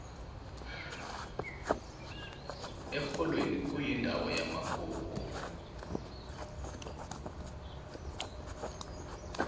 erholweni kuyindawo yamagugu